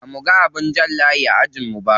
Bamuga abin jan layi a ajin mu ba.